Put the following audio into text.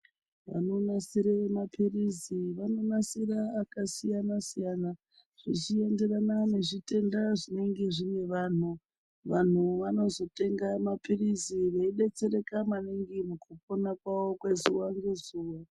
Vanonasire mapirizi vanonasira akasiyana siyana zvichienderana nezvitenda zvinenge zvine vantu, vantu vanozotenga mapirizi veidetsereka maningi mukupona kwawo kwezuwa ngezuwa.